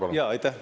Aa, aitäh!